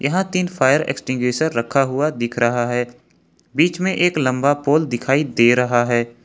तीन fire extinguisher रखा हुआ दिख रहा है बीच में एक लंबा पोल दिखाई दे रहा है।